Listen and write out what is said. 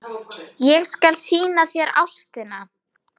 Ég skal sýna þér Ástina.